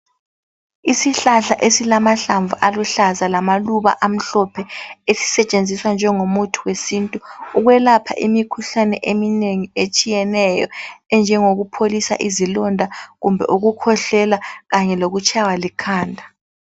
Isihlahla esilamahlamvu aluhlaza lamaluba amhlophe esisetshenziswa njengomuthi wesintu ukwelapha imikhuhlane eminengi etshiyeneyo enjengokupholisa izilonda kumbe ukukhwehlela kanye lokutshaywa likhanda.